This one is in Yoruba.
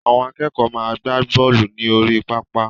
The akẹ́kọ̀ọ́ máa gbá bọ́lù ní orí pápá